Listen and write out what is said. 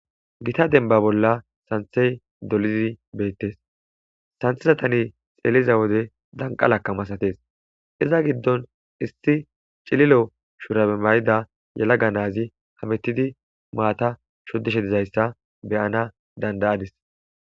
Gita denba bolla santhey dolizi beettes santhesatani xeeliza wode danqalaka masatees iza giddon issi cililo shurae mayida yalaga naazi hamettidi maata shodishe dizayssa beyana dandayadis.